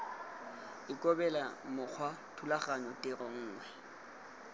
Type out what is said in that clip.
ikobele mokgwa thulaganyo tiro gongwe